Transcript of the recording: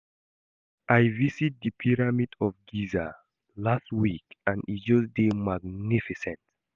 I visit the pyramid of Giza last week and e just dey magnificent